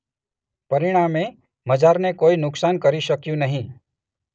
પરિણામે મઝારને કોઈ નુકસાન કરી શકયું નહી.